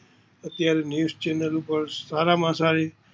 અત્યારે news channel પર સારમાં સારી